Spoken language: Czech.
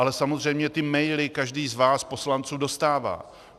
Ale samozřejmě ty maily každý z vás poslanců dostává.